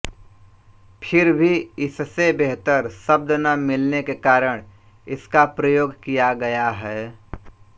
फिर भी इससे बेहतर शब्द न मिलने के कारण इसका प्रयोग किय गया है